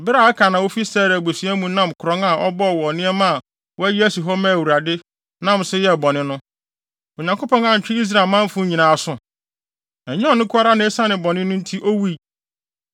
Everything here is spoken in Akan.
Bere a Akan a ofi Serah abusua mu nam korɔn a ɔbɔɔ wɔ nneɛma a wɔayi asi hɔ ama Awurade, nam so yɛɛ bɔne no, Onyankopɔn antwe Israel manfo nyinaa aso? Ɛnyɛ ɔno nko ara na esiane bɔne no nti owui.”